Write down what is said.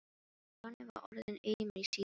Stjáni var orðinn aumur í síðunni.